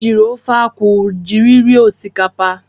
Anyị jiiri ofe akwụ jiri rie osikapa.